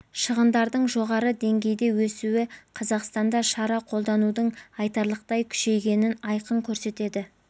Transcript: шығындардың жоғары деңгейде өсуі қазақстанда шара қолданудың айтарлықтай күшейгенін айқын көрсетеді